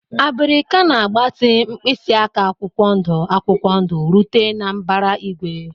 Abirika na-agbatị, mkpịsị aka akwụkwọ ndụ akwụkwọ ndụ rute na mbara igwe.